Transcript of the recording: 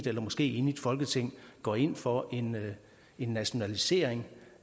eller måske enigt folketing går ind for en en nationalisering